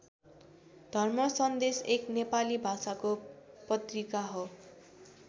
धर्म सन्देश एक नेपाली भाषाको पत्रिका हो।